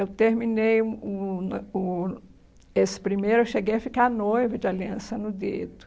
Eu terminei o o noi o esse primeiro, eu cheguei a ficar noiva de Aliança no Dedo.